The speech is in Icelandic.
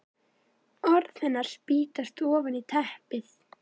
Orð hennar spýtast ofan í teppið.